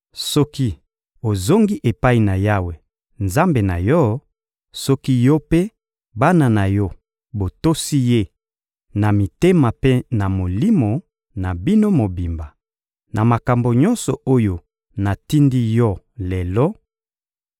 soki ozongi epai na Yawe, Nzambe na yo; soki yo mpe bana na yo botosi Ye, na mitema mpe na milimo na bino mobimba, na makambo nyonso oyo natindi yo lelo,